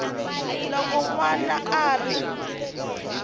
loko n wana a ri